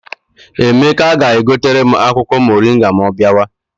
Emeka ga-egotere m akwụkwọ moringa ma ọ bịawa.